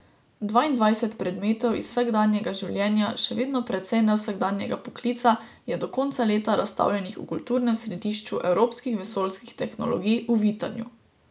Dvaindvajset predmetov iz vsakdanjega življenja še vedno precej nevsakdanjega poklica je do konca leta razstavljenih v Kulturnem središču evropskih vesoljskih tehnologij v Vitanju.